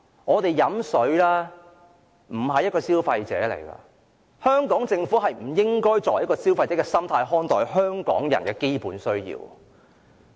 在飲用水方面，我們並非消費者，香港政府不應以消費者的心態看待香港人的基本需要。